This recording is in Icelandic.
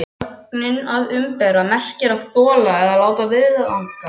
Sögnin að umbera merkir að þola eða láta viðgangast.